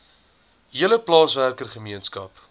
hele plaaswerker gemeenskap